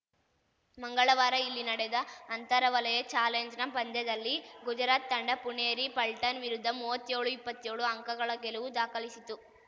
ಮಂಗಳವಾರ ಇಲ್ಲಿ ನಡೆದ ಅಂತರ ವಲಯ ಚಾಲೆಂಜ್‌ನ ಪಂದ್ಯದಲ್ಲಿ ಗುಜರಾತ್‌ ತಂಡ ಪುಣೇರಿ ಪಲ್ಟನ್‌ ವಿರುದ್ಧ ಮುವ್ವತ್ತ್ಯೋಳುಇಪ್ಪತ್ಯೋಳು ಅಂಕಗಳ ಗೆಲುವು ದಾಖಲಿಸಿತು